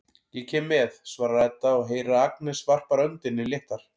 Ég kem með, svarar Edda og heyrir að Agnes varpar öndinni léttar.